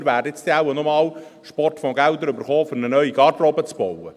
Wir werden nun wohl noch Sportfondsgelder bekommen, um eine neue Garderobe zu bauen.